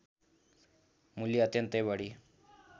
मूल्य अत्यन्तै बढी